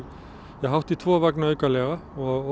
hátt í tvo vagna aukalega og